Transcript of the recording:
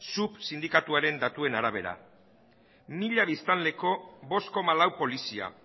sup sindikatuaren datuen arabera mila biztanleko bost koma lau polizia